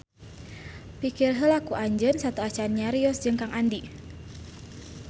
Pikir heula ku anjeun sateuacan nyarios jeung Kang Andi